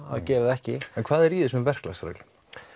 að gera það ekki en hvað er í þessum verklagsreglum